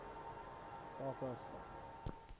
takastad